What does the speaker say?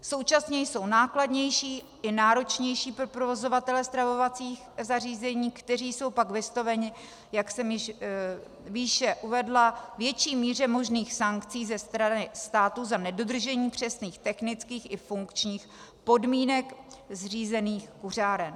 Současně jsou nákladnější i náročnější pro provozovatele stravovacích zařízení, kteří jsou pak vystaveni, jak jsem již výše uvedla, větší míře možných sankcí ze strany státu za nedodržení přesných technických i funkčních podmínek zřízených kuřáren.